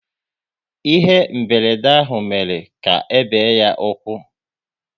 Ihe mberede ahụ mere ka ebe ya ụkwụ